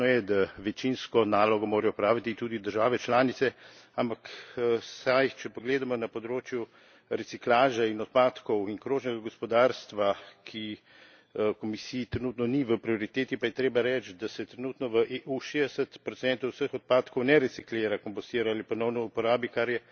Jasno je, da večinsko nalogo morajo opraviti tudi države članice, ampak vsaj če pogledamo na področje reciklaže in odpadkov in krožnega gospodarstva, ki Komisiji trenutno ni v prioriteti, pa je treba reči, da se trenutno v EU 60 vseh odpadkov ne reciklira, kompostira ali ponovno uporabi, kar je